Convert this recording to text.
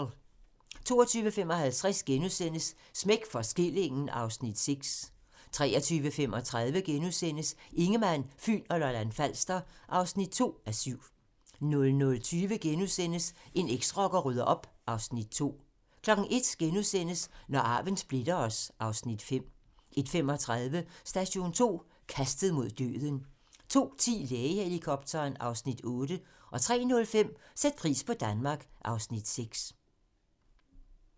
22:55: Smæk for skillingen (Afs. 6)* 23:35: Ingemann, Fyn og Lolland-Falster (2:7)* 00:20: En eksrocker rydder op (2:4)* 01:00: Når arven splitter os (Afs. 5)* 01:35: Station 2: Kastet mod døden 02:10: Lægehelikopteren (Afs. 8) 03:05: Sæt pris på Danmark (Afs. 6)